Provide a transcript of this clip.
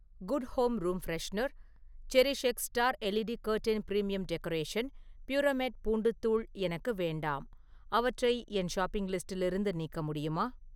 Good home room freshener, CherishX star LED curtain premium decoration, Puramate பூண்டுத் தூள் எனக்கு வேண்டாம், அவற்றை என் ஷாப்பிங் லிஸ்டிலிருந்து நீக்க முடியுமா?